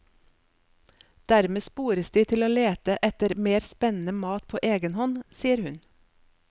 Dermed spores de til å lete etter mer spennende mat på egen hånd, sier hun.